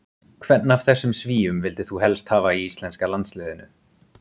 Hvern af þessum svíum vildir þú helst hafa í íslenska landsliðinu?